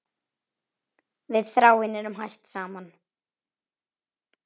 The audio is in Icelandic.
Við Þráinn eru hætt saman.